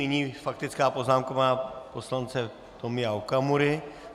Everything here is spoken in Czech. Nyní faktická poznámka poslance Tomio Okamury.